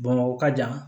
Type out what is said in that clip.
Bamakɔ ka jan